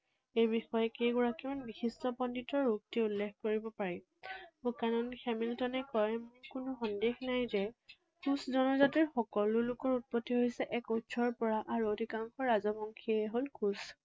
এই বিষয়ে কেইগৰাকীমান বিশিষ্ট পণ্ডিতৰ উক্তি উল্লেখ কৰিব পাৰি। বুকানান হেমিল্টনে কয় কোনো সন্দেহ নাই যে কোচ জনজাতিৰ সকলো লোকৰ উৎপত্তি হৈছে এক উৎসৰ পৰা আৰু অধিকাংশ ৰাজবংশীয়ে হল কোচ।